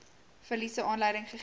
verliese aanleiding gegee